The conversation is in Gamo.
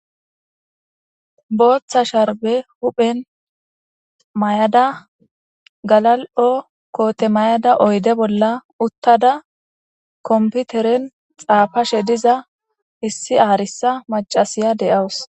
booththa sharbe huphen may7ada galal7o koote mayada oyde bolla uttada komputeren xaafashe diza hissi aarisa macasiya de7awus